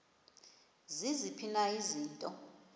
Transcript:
ziziphi na izinto